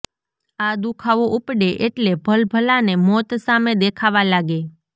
આ દુખાવો ઉપડે એટલે ભલભલાને મોત સામે દેખાવા લાગે